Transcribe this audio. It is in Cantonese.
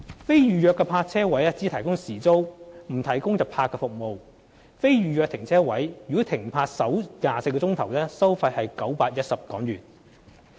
非預約泊車位只提供時租，不設日泊服務。在非預約泊車位停泊首24小時收費為910元。